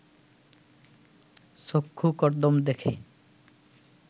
চক্ষু কর্দ্দম দেখে